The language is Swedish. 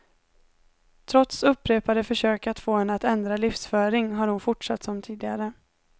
Trots upprepade försök att få henne att ändra livsföring har hon fortsatt som tidigare.